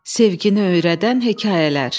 Sevgi öyrədən hekayələr.